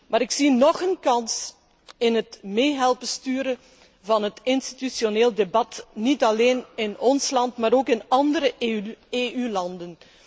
Maar ik zie nog een kans in het mee helpen sturen van het institutioneel debat, niet alleen in ons land, maar ook in andere EU landen.